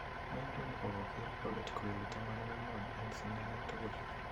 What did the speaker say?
Wayne Rooney kokoger golit koyli 14 en sidanet tugul